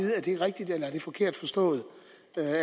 jeg forkert forstået